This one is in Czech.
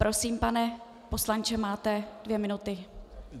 Prosím, pane poslanče, máte dvě minuty.